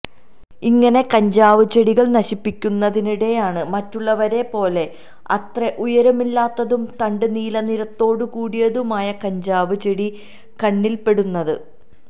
ഇങ്ങനെ കഞ്ചാവ് ചെടികള് നശിപ്പിക്കുന്നതിനിടെയാണ് മറ്റുള്ളവയെപോലെ അത്ര ഉയരമില്ലാത്തതും തണ്ട് നീലനിറത്തോടുകൂടിയതുമായ കഞ്ചാവ് ചെടി കണ്ണില്പെടുന്നത്